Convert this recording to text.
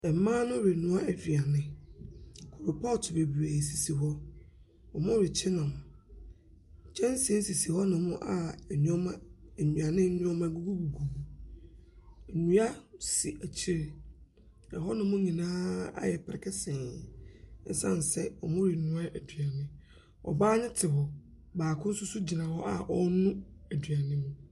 Mmaa no renoa aduane, koropɔɔto bebree sisi hɔ, wɔrekye nam. Kyɛnse sisi hɔnom a nneɛma aduane nneɛma gugugugu mu. Nnua si akyire, hɔnom nyinaa ayɛ brekesee, ɛsan sɛ wɔrenoa aduane. Ɔbaa ne te hɔ, baako nso gyina hɔ a ɛrenu aduane mu.